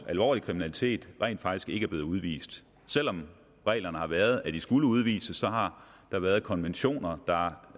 alvorlig kriminalitet rent faktisk ikke er blevet udvist selv om reglerne har været sådan at de skulle udvises har der været konventioner der